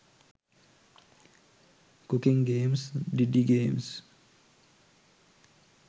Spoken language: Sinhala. cooking games didi games